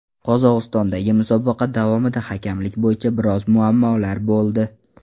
Qozog‘istondagi musobaqa davomida hakamlik bo‘yicha biroz muammolar bo‘ldi.